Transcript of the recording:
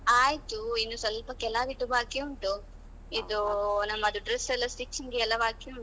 ಆಯ್ತು ಇನ್ನು ಸ್ವಲ್ಪ ಕೆಲವಿದ್ದು ಬಾಕಿ ಉಂಟು ಇದು ನಮ್ಮದು dress ಎಲ್ಲಾ stitching ಎಲ್ಲಾ ಬಾಕಿ ಉಂಟು.